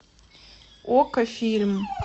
окко фильм